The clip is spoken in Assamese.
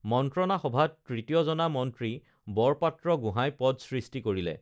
মন্ত্ৰনা সভাত তৃতীয় জনা মন্ত্ৰী বৰপাত্ৰগোঁহাই পদ সৃষ্টি কৰিলে